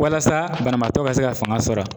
Walasa banabaatɔ ka se ka fanga sɔrɔ